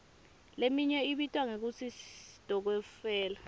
leminye ibitwa ngekutsi sitokfela